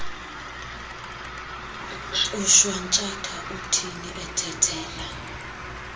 ushwantshatha uthini uthethela